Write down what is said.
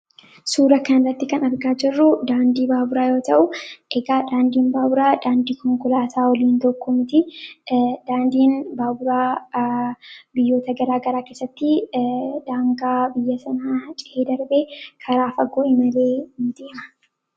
Suura kan irratti kan argaa jiruu daandii baaburaa yoo ta'u, egaa daandiin baaburaa daandii konkolaataa waliin tokko mitti. Daandiin baaburaa biyyoota garaa garaa keessatti daangaa biyya sanaa ce'ee darbee karaa faggoo imalee ni deema.